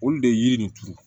Olu de ye yiri nin turu